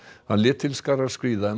hann lét til skarar skríða um